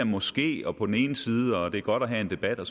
måske og på den ene side og det er godt at have en debat og